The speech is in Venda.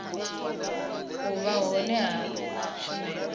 u vha hone ha tshumelo